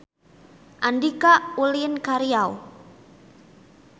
Andika ulin ka Riau